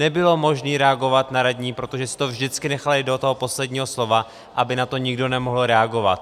Nebylo možné reagovat na radní, protože si to vždycky nechali do toho posledního slova, aby na to nikdo nemohl reagovat.